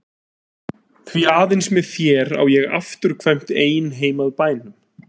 Því aðeins með þér á ég afturkvæmt ein heim að bænum.